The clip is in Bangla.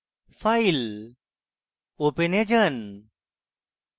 file open এ যান